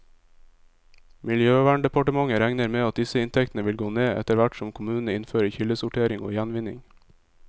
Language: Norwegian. Miljøverndepartementet regner med at disse inntektene vil gå ned, etterhvert som kommunene innfører kildesortering og gjenvinning.